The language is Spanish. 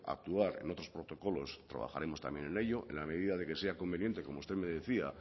actuar en otros protocolos trabajaremos también en ello en la medida de que sea conveniente como usted me decía